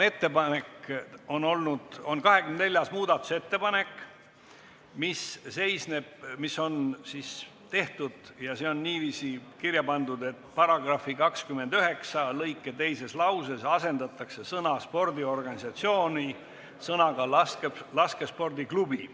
Tegemist on 24. muudatusettepanekuga, mis on kirja pandud nii: "paragrahvi 29 lõike 2 teises lauses asendatakse sõna "spordiorganisatsiooni" sõnaga "laskespordiklubi"".